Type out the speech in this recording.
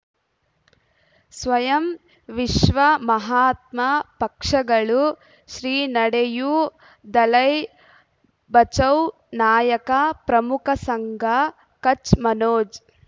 ಸ್ವಯಂ ವಿಶ್ವ ಮಹಾತ್ಮ ಪಕ್ಷಗಳು ಶ್ರೀ ನಡೆಯೂ ದಲೈ ಬಚೌ ನಾಯಕ ಪ್ರಮುಖ ಸಂಘ ಕಚ್ ಮನೋಜ್